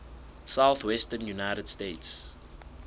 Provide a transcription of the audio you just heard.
southwestern united states